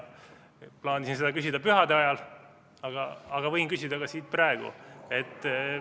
Plaanisin seda küsida pühade ajal, aga võin küsida ka siit praegu.